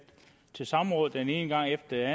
til samråd den ene gang efter